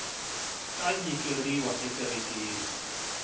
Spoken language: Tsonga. ka nyikeriwa ekerekeni